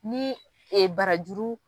Ni e barajuru.